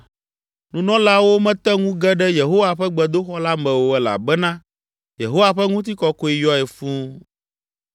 Nunɔlaawo mete ŋu ge ɖe Yehowa ƒe gbedoxɔ la me o elabena Yehowa ƒe ŋutikɔkɔe yɔe fũu.